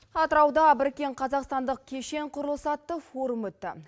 атырауда біріккен қазақстандық кешен құрылысы атты форум өтті